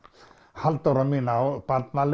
Halldóra mín á